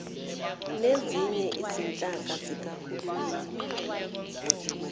nezinye izinhlaka zikahulumeni